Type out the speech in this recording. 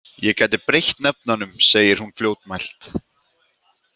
Ég gæti breytt nöfnunum, segir hún fljótmælt.